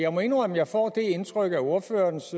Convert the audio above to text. jeg må indrømme at jeg får det indtryk af ordførerens